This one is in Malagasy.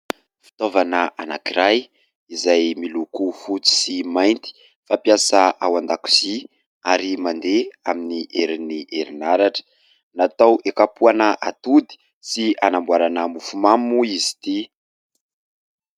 Fitaovana anakiray izay miloko fotsy sy mainty, fampiasa ao an-dakozia ary mandeha amin'ny herin'ny herinaratra. Natao hikapohana atody sy hanamboarana mofomamy moa izy ity.